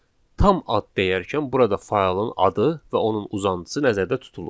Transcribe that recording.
Tam ad deyərkən burada faylın adı və onun uzantısı nəzərdə tutulur.